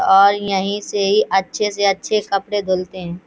और यहीं से अच्छे-से अच्छे कपडे धुलते हैं।